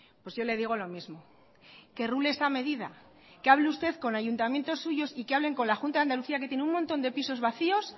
pues yo le digo lo mismo que rule esta medida que hable usted con ayuntamientos suyos y que hablen con la junta de andalucía que tienen un montón de pisos vacíos